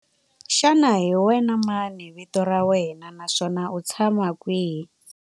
Xana hi wena mani vito ra wena naswona u tshama kwihi?